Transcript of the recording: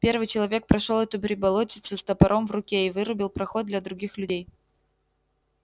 первый человек прошёл эту приболотицу с топором в руке и вырубил проход для других людей